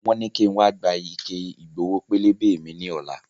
Wọn ní ki n wa gba ike Ìgbowó pélébé mi ni ọ̀la